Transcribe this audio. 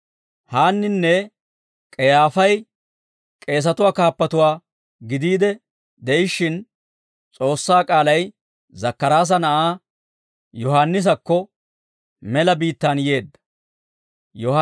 Haanninne K'eyyaafay k'eesatuwaa kaappatuwaa gidiide de'ishshin, S'oossaa k'aalay Zakkaraasa na'aa Yohaannisakko mela biittaan yeedda. K'eesatuwaa Kaappuwaa